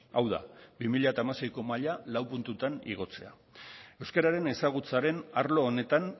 hau da bi mila hamaseiko maila lau puntutan igotzea euskararen ezagutzaren arlo honetan